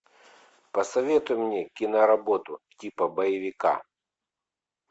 посоветуй мне киноработу типа боевика